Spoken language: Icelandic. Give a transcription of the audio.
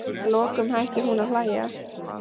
Að lokum hætti hún að hlæja.